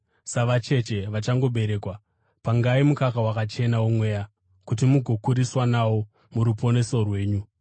Savacheche vachangoberekwa, pangai mukaka wakachena womweya, kuti mugokuriswa nawo muruponeso rwenyu,